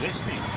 Nə oldu?